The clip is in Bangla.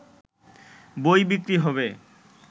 বই বিক্রি হবে